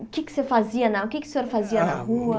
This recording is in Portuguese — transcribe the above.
O que é que o senhor fazia o que é que o senhor fazia na rua?